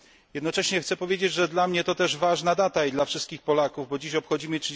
Jednocześnie chciałbym powiedzieć, że dla mnie to też ważna data, i dla wszystkich Polaków, bo dzisiaj obchodzimy